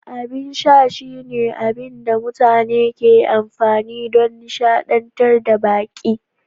Abin sha shine abin da mutane ke amfani don nishadantar da baƙi.